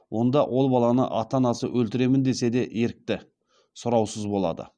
онда ол баланы ата анасы өлтіремін десе де ерікті сұраусыз болады